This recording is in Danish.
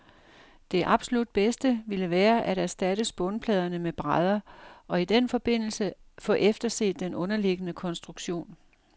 Det absolut bedste ville være at erstatte spånpladerne med brædder, og i denne forbindelse få efterset den underliggende konstruktion.